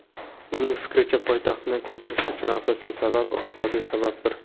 Uning fikricha, poytaxtni ko‘chirish uchun asosiy sabab iqtisodiy sababdir.